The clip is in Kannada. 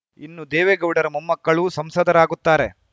ಇನ್ನು ದೇವೇಗೌಡರ ಮೊಮ್ಮಕ್ಕಳೂ ಸಂಸದರಾಗುತ್ತಾರೆ